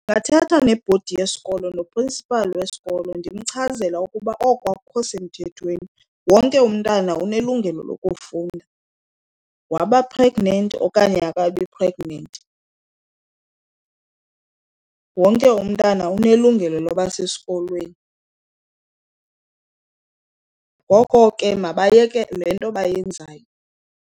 Ndingathetha nebhodi yesikolo noprinsiphali wesikolo ndimchazele ukuba oko akukho semthethweni wonke umntana unelungelo lokufunda. Waba-pregnant okanye akabi pregnant, wonke umntana unelungelo loba sesikolweni. Ngoko ke mabayeke le nto bayenzayo.